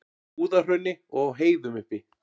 Búðahrauni og á heiðum uppi.